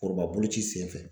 Foroba boloci senfɛ